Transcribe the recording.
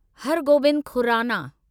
हर गोबिंद खुराना